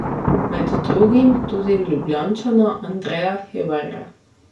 Med drugim tudi Ljubljančana Andreja Hebarja.